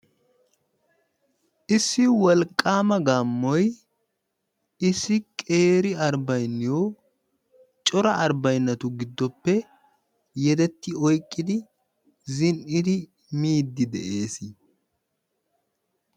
Issi wolqqama gaammoy issi qeeri harbayniyo cora harbaynotu giddoppe yedetti oyqqidi zin'i miidi de'ees.